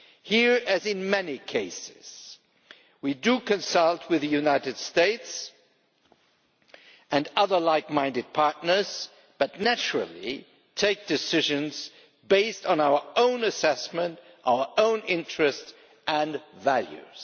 Here, as in many cases, we do consult with the United States and other like minded partners, but naturally take decisions based on our own assessment, our own interests and values.